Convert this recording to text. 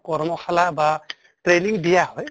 কৰ্মশালা বা training দিয়া হয়